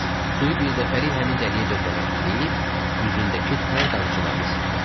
Suyu bir dəfəlik həmin dəliyə döndərək, deyib üzündəki tər damcılarını sildi.